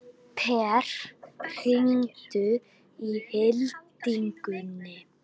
Per, hringdu í Hildigunni.